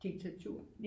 Diktatur